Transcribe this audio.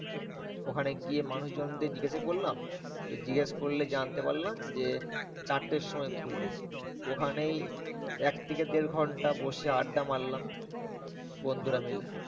ওখানে গিয়ে মানুষজনকে জিজ্ঞাসা করলাম। জিজ্ঞেস করলে জানতে পারলাম যে, চারটের সময় খুলবে। ওখানেই এক থেকে দেড় ঘন্টা বসে আড্ডা মারলাম বন্ধুরা মিলে।